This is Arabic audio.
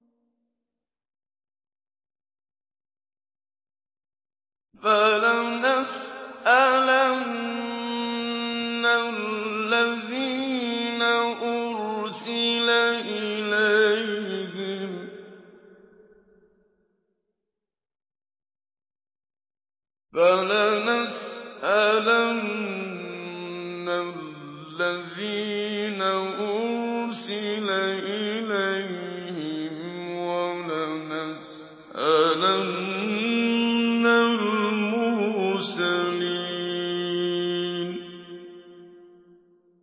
فَلَنَسْأَلَنَّ الَّذِينَ أُرْسِلَ إِلَيْهِمْ وَلَنَسْأَلَنَّ الْمُرْسَلِينَ